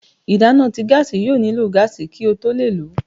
ìdana tí gáási yóò niló gaasi kí o tó le ló